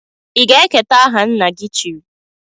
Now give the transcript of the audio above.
I ga-eketa aha nna-gi chiri?